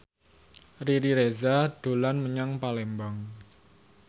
Riri Reza dolan menyang Palembang